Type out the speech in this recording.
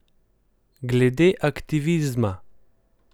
Glede aktivizma.